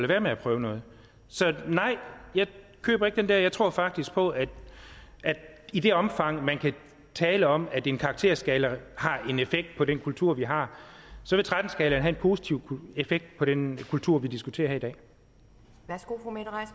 være med at prøve noget så nej jeg køber ikke den der jeg tror faktisk på at i det omfang man kan tale om at en karakterskala har en effekt på den kultur vi har så vil tretten skalaen have en positiv effekt på den kultur vi diskuterer